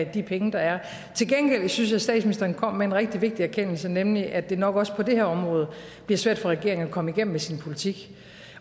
af de penge der er til gengæld synes jeg at statsministeren kom med en rigtig vigtig erkendelse nemlig at det nok også på det her område bliver svært for regeringen at komme igennem med sin politik